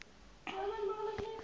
sal lei tot